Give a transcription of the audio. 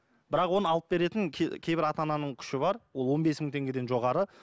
бірақ оны алып беретін кейбір ата ананың күші бар ол он бес мың теңгеден жоғары